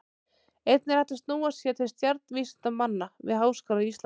Einnig er hægt að snúa sér til stjarnvísindamanna við Háskóla Íslands.